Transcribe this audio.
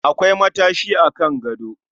Akwai matashi a Kan gado